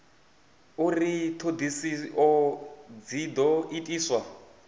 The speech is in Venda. uri ṱhoḓisio dzi ḓo itiswa